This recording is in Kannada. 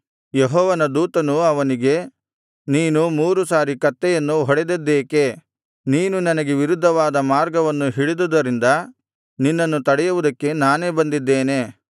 ಯೆಹೋವನ ದೂತನು ಅವನಿಗೆ ನೀನು ಮೂರು ಸಾರಿ ಕತ್ತೆಯನ್ನು ಹೊಡೆದದ್ದೇಕೆ ನೀನು ನನಗೆ ವಿರುದ್ಧವಾದ ಮಾರ್ಗವನ್ನು ಹಿಡಿದುದರಿಂದ ನಿನ್ನನ್ನು ತಡೆಯುವುದಕ್ಕೆ ನಾನೇ ಬಂದಿದ್ದೇನೆ